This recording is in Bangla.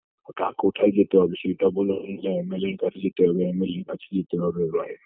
ওটা কোথায় যেতে হবে সেইটা বলো যে MLA -এর কাছে যেতে হবে MLA -এর কাছে যেতে হবে বা